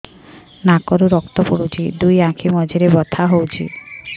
ନାକରୁ ରକ୍ତ ପଡୁଛି ଦୁଇ ଆଖି ମଝିରେ ବଥା ହଉଚି